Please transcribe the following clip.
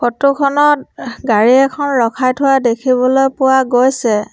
Photo খনত অঃহ গাড়ী এখন ৰখাই থোৱা দেখিবলৈ পোৱা গৈছে।